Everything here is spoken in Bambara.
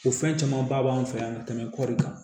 O fɛn camanba b'an fɛ yan kɔɔri kan